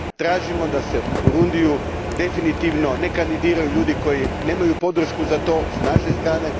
Tražimo da se u Burundiju definitivno ne kandidiraju ljudi koji nemaju podršku za to s naše strane.